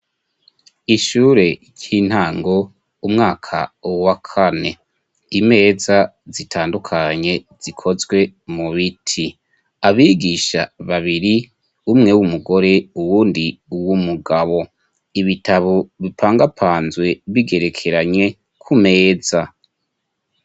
Ishure cy'intango, umwaka wa kane. Imeza zitandukanye zikozwe mu biti. Abigisha babiri umwe w'umugore uwundi uwumugabo. Ibitabo bipangapanzwe bigerekeranye ku meza.